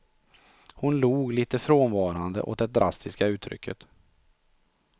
Hon log lite frånvarande åt det drastiska uttrycket.